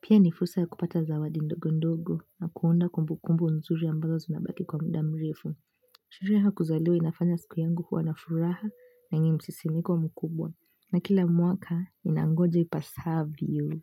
pia ni fursa ya kupata zawadi ndogondogo na kuunda kumbukumbu nzuri ambazo zinabaki kwa muda mrefu. Sherehe ya kuzaliwa inafanya siku yangu kuwa na furaha na yenye msisimko mkubwa. Na kila mwaka inangoja ipasavyo.